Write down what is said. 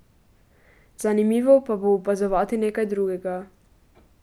Zanimivo pa bo opazovati nekaj drugega.